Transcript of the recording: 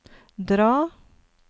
dra